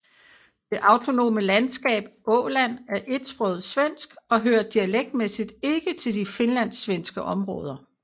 Det autonome landskab Åland er etsproget svensk og hører dialektmæssigt ikke til de finlandssvenske områder